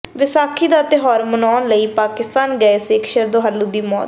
ਵਿਸਾਖੀ ਦਾ ਤਿਉਹਾਰ ਮਨਾਉਣ ਲਈ ਪਾਕਿਸਤਾਨ ਗਏ ਸਿੱਖ ਸ਼ਰਧਾਲੂ ਦੀ ਮੌਤ